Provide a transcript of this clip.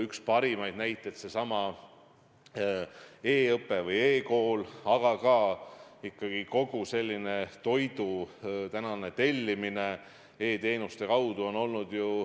Üks parimaid näiteid on seesama e-õpe või e-kool, aga ka ikkagi kogu toidu tellimine e-teenuste kaudu.